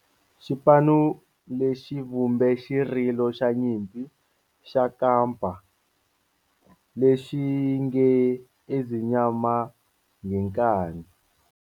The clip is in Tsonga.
Xipano lexi vumbe xirilo xa nyimpi xa kampa lexi nge 'Ezimnyama Ngenkani'.